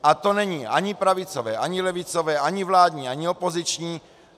A to není ani pravicové ani levicové ani vládní ani opoziční.